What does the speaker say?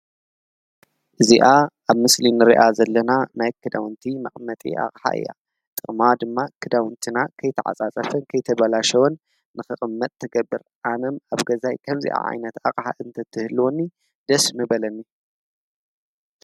እዚኣ አብ ምስሊ ንሪአ ዘለና ናይ ክዳዉንቲ መቀመጢ አቅሓ እያ። ጥቅማ ድማ ክዳዉንትና ከይተዓፃፀፈን ከየተባላሽው ንክቅመጥ ትገብር። አነ አብ ገዛይ ከምዚ ዓይነት አቅሓ ተትህልወኒ ደስ ምበለኒ ።